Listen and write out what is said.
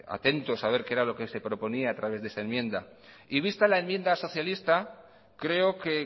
atentos a ver qué era lo que se proponía a través de esa enmienda y vista la enmienda socialista creo que